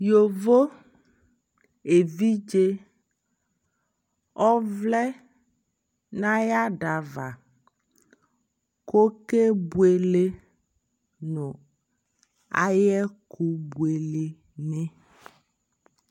yɔvɔ ɛvidzɛ ɔvlɛ nʋ ayi adava kʋ ɔkɛ bʋɛlɛ nʋ ayi ɛkʋ bʋɛlɛ ni